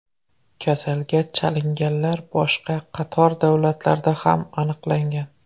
Kasalga chalinganlar boshqa qator davlatlarda ham aniqlangan.